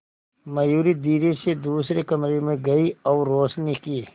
मयूरी धीरे से दूसरे कमरे में गई और रोशनी की